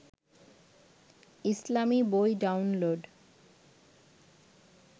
ইসলামী বই ডাউনলোড